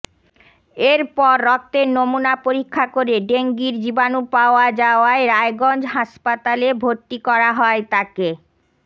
এরপর রক্তের নমুনা পরীক্ষা করে ডেঙ্গির জীবাণু পাওয়া যাওয়ায় রায়গঞ্জ হাসপাতালে ভরতি করা হয় তাকে